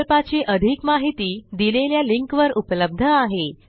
प्रकल्पाची अधिक माहिती दिलेल्या लिंकवर उपलब्ध आहे